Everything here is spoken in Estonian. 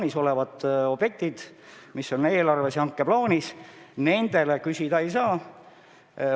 Kirjas on, et objektide jaoks, mis on eelarves ja hankeplaanis, raha küsida ei saa.